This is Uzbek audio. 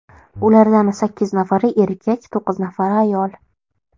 Ulardan sakkiz nafari erkak, to‘qqiz nafari ayol.